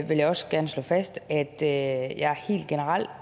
jeg også gerne slå fast at